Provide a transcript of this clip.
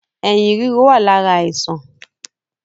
Ẹyin ríro wá lára àìsàn